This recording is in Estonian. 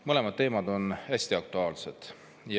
Mõlemad teemad on hästi aktuaalsed.